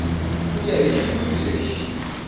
ku ya hi xihluvi lexi